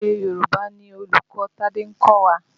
Èdè Yorùbá ni olùkọ́ Tádé ń kọ́wa.